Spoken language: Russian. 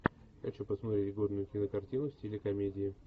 хочу посмотреть годную кинокартину в стиле комедии